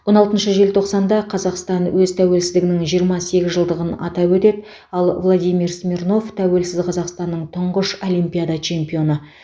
он алтыншы желтоқсанда қазақстан өз тәуелсіздігінің жиырма сегіз жылдығын атап өтеді ал владимир смирнов тәуелсіз қазақстанның тұңғыш олимпиада чемпионы